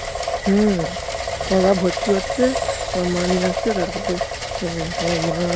হম তোমার বাপ ভর্তি করছে তোমার মা নিয়ে আসছে তারপরে এর তোমার মা